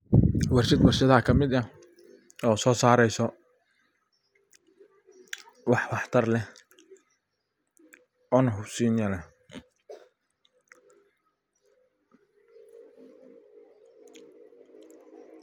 Warshad warshadaha kamid ah oo so sareso wax waxtar leh one cusinya leh.